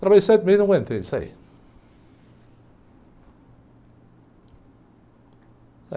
Trabalhei sete meses e não aguentei, sai.